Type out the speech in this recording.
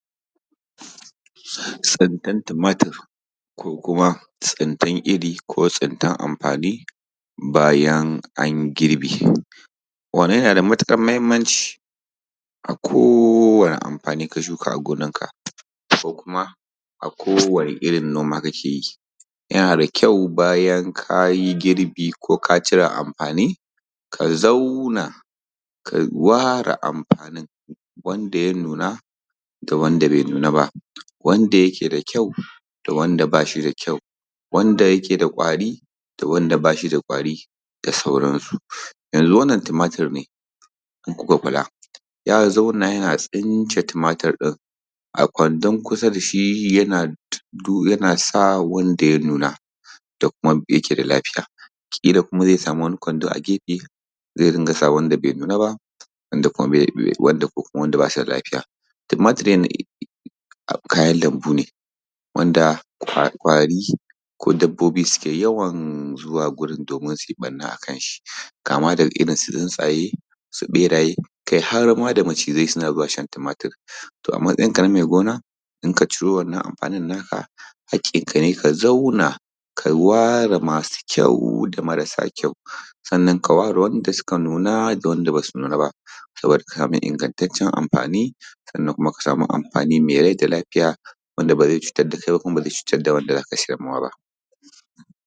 Tsintan tumatir, ko kuma tsintar iri, ko tsintar amfani, bayan an girbe. Wannan yana da matuƙar muhimmanci, a kowani amfanin ka shuka a gonanka ko kuma a kowane irin noma ka ke yi yana da kyau bayan ka yi girbi ko ka cire amfani, ka zaauna, ka waare amfanin wanda ya nuna da wanda bai nuna ba. Wanda yake da kyau da wanda bashi da kyau. Wanda yake da ƙwari da wanda bashi da ƙwari da sauransu. Yanzu wannan tumatur ne in ku ka kula ya zauna yana tsince tumatir ɗin, a kwandan kusa da shi yana du yana sa wanda ya nuna da kuma yake da lafiya ƙila kuma zai samu wani kwando ne a gefe zai dinga sa wanda bai nuna ba wanda be be ba wanda ko ba su da lafiya. Tumatir ɗin um kayan lambune wanda ƙwa ƙwari ko dabbobi suke yawan zuwa gurin domin su yi ɓanna a kan shi kama daga irin su tsuntsaye su ɓeraye kai har ma da macizai suna zuwa shan tumatir to a matsayinka na mai gona in ka ciro wannan amfani na ka, haƙƙin kane ka zauna ka ware masu kyau da marasa kyau, sannan ka ware wanda suka nuna da wanda basu nuna ba, saboda ka samu ingantancen amfani sannan ka samu amfani mai rai da lafiya wanda ba zai cutar da kai kuma ba zai cutar da wanda za ka sajar ma wa ba.